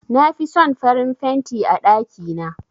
Na fi son farin fenti a ɗakina.